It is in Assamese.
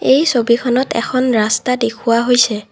এই ছবিখনত এখন ৰাস্তা দেখুওৱা হৈছে।